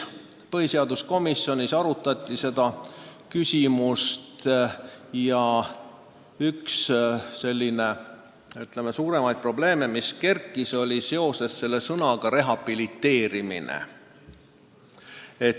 Põhiseaduskomisjonis arutati seda küsimust ja üks suurimaid probleeme, mis üles kerkis, oli seoses sõnaga "rehabiliteerimine".